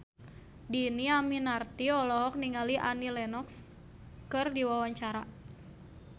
Dhini Aminarti olohok ningali Annie Lenox keur diwawancara